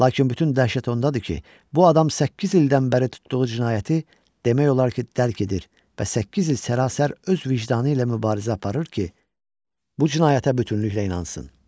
Lakin bütün dəhşət ondadır ki, bu adam səkkiz ildən bəridir ki, tutduğu cinayəti demək olar ki, dərk edir və səkkiz il sərasər öz vicdanı ilə mübarizə aparır ki, bu cinayətə bütünlüklə inansın.